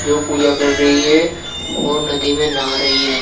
जो पूजा कर रही है वो नदी में नहा रही है।